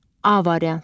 A variantı.